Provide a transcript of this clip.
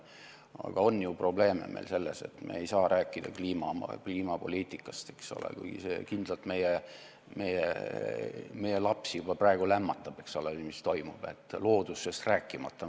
Aga probleem on ju selles, et me ei saa rääkida kliimapoliitikast, kui see, mis toimub, kindlalt meie lapsi juba praegu lämmatab, loodusest rääkimata.